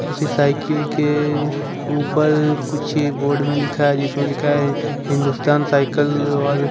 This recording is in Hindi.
उसकी साइकिल के ऊपर कुछ बोर्ड में लिखा है जिसमें लिखा है हिंदुस्तान साइकिल और--